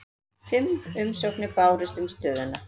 Fimm umsóknir bárust um stöðuna